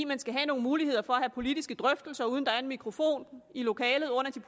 man skal have nogle muligheder for politiske drøftelser uden at der er en mikrofon i lokalet under de